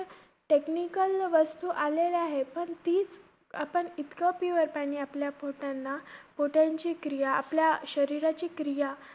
Technical वस्तू आलेल्या आहेत. पण तीच आपण इतकं pure पाणी आपल्या पोटांना~ पोटांची क्रिया आपल्या शरीराची क्रिया